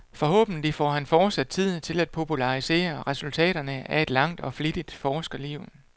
Forhåbentlig får han fortsat tid til at popularisere resultaterne af et langt og flittigt forskerliv.